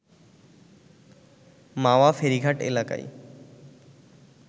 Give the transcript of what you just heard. মাওয়া ফেরীঘাট এলাকায়